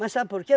Mas sabe por quê?